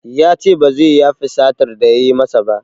Yace ba zai yafe satar da yayi masa ba